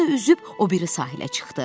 Sonra da üzüb o biri sahilə çıxdı.